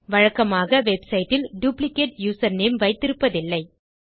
வழக்கமாக வெப்சைட் இல் duplicate username வைத்திருப்பதில்லை